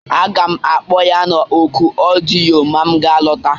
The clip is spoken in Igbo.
Aga m akpọ ya na oku ọdịyo ma m ga-alọta